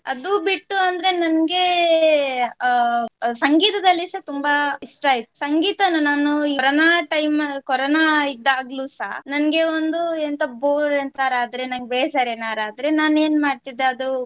ಅದು ಬಿಟ್ಟು ಅಂದ್ರೆ ನಂಗೆ ಅಹ್ ಸಂಗೀತದಲ್ಲಿಸ ತುಂಬಾ ಇಷ್ಟ ಇತ್ತು ಸಂಗೀತನ ನಾನು ಕೊರೋನಾ time ಕೊರೋನಾ ಇದ್ದಾಗಲೂಸ ನಂಗೆ ಒಂದು ಎಂತ bore ಎಂತಾರ ಆದ್ರೆ ನಂಗ್ ಬೇಜಾರ್ ಏನಾರ ಆದ್ರೆ ನಾನ್ ಏನ್ ಮಾಡ್ತಿದ್ದೆ ಅದು